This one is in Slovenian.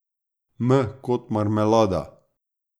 M kot marmelada.